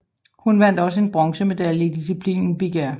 Hun vandt også en bronzemedalje i disciplinen big air